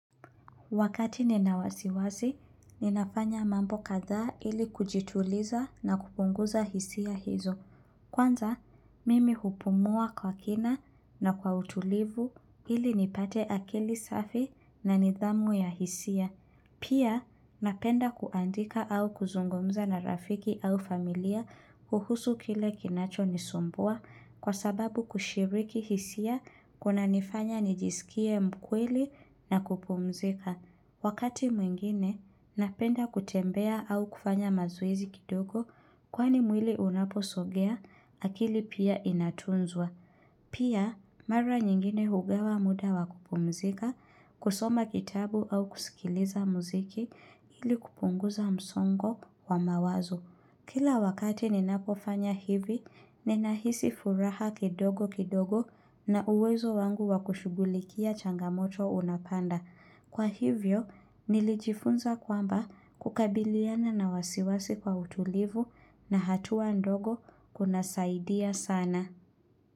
Wakati ninawasiwasi, ninafanya mambo kadhaa ili kujituliza na kupunguza hisia hizo. Kwanza, mimi hupumua kwa kina na kwa utulivu ili nipate akili safi na nidhamu ya hisia. Pia, napenda kuandika au kuzungumza na rafiki au familia kuhusu kile kinacho nisumbua kwa sababu kushiriki hisia kunanifanya nijisikie mkweli na kupumzika. Wakati mwingine, napenda kutembea au kufanya mazoezi kidogo kwani mwili unaposogea akili pia inatunzwa. Pia, mara nyingine hugawa muda wakupumzika, kusoma kitabu au kusikiliza muziki ili kupunguza msongo wa mawazo. Kila wakati ninapofanya hivi, ninahisi furaha kidogo kidogo na uwezo wangu wakushugulikia changamoto unapanda. Kwa hivyo, nilijifunza kwamba kukabiliana na wasiwasi kwa utulivu na hatua ndogo kuna saidia sana.